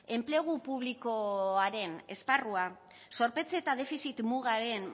enplegu publikoaren esparrua zorpetze eta defizit mugaren